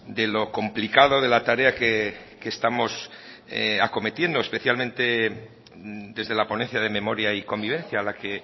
de lo complicado de la tarea que estamos acometiendo especialmente desde la ponencia de memoria y convivencia a la que